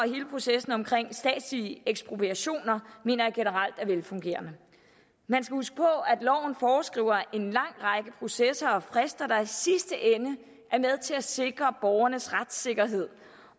processen omkring statslige ekspropriationer mener jeg generelt er velfungerende man skal huske på at loven foreskriver en lang række processer og frister der i sidste ende er med til at sikre borgernes retssikkerhed